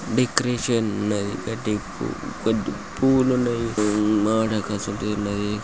Decoration ఉన్నది. గడి పు పూలు ఉన్నాయి. మావిడాకాసొంటిడి ఉన్నది.